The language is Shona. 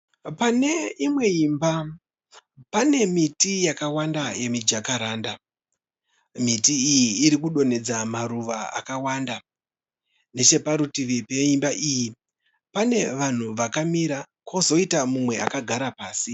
Pane imwe imba pane miti yakawanda yemijakaranda. Miti iyi irikudonhedza maruva akawanda, necheparutivi peimba iyi, pane vanhu vakamira kozoita mumwe akagara pasi.